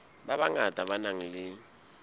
ba bangata ba nang le